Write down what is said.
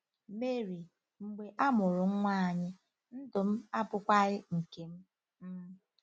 Mary: “ Mgbe a mụrụ nwa anyị, ndụ m abụkwaghị nke m. m.